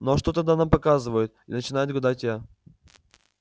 ну а что тогда там показывают начинаю гадать я